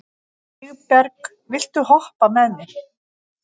Vígberg, viltu hoppa með mér?